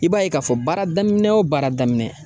I b'a ye k'a fɔ baara daminɛ o baara daminɛ